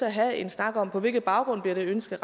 at have en snak om på hvilken baggrund det ønske